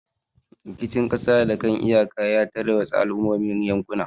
Rikicin kasa da kan iyaka ya tarwatsa al'ummomin yankuna.